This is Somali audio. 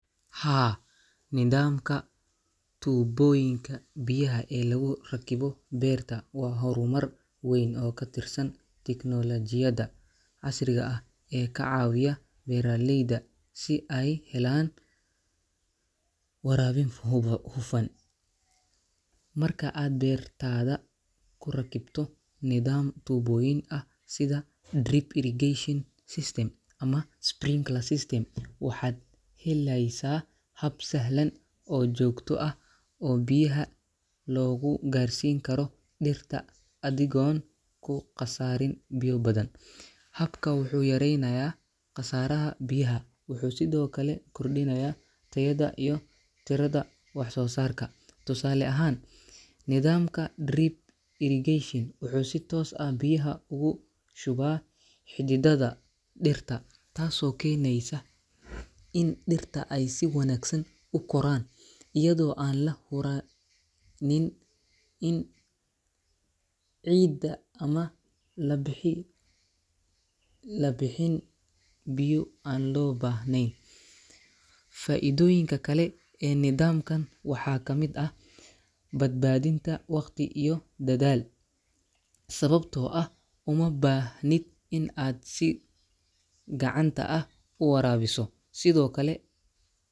Haa, nidaamka tuubbooyinka biyaha ee lagu rakibo beerta waa horumar weyn oo ka tirsan tiknoolajiyadda casriga ah ee ka caawiya beeraleyda in ay helaan waraabin hufan. Marka aad beertaada ku rakibto nidaam tuubbooyin ah sida drip irrigation system ama sprinkler system, waxaad helaysaa hab sahlan oo joogto ah oo biyaha loogu gaarsiin karo dhirta adigoon ku khasaarin biyo badan. Habkan wuxuu yareynayaa khasaaraha biyaha, wuxuu sidoo kale kordhinayaa tayada iyo tirada wax-soosaarka. Tusaale ahaan, nidaamka drip irrigation wuxuu si toos ah biyaha ugu shubaa xididdada dhirta, taasoo keeneysa in dhirta ay si wanaagsan u koraan, iyadoo aan la huraynin ciidda ama labi la bixin biyo aan loo baahnayn. Faa’iidooyinka kale ee nidaamkan waxaa ka mid ah: badbaadinta waqti iyo dadaal, sababtoo ah uma baahnid in aad si gacanta ah u waraabiso, sidoo kale.